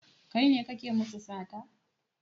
Kai ne kake musu sata?